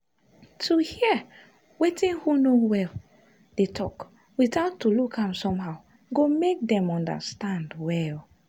to hear wetin who no well dey talk without to look am somehow go make them understand well.